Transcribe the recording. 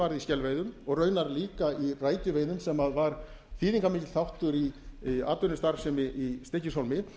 varð í skelveiðum og raunar líka í rækjuveiðum sem var þýðingarmikill þáttur í atvinnustarfsemi í stykkishólmi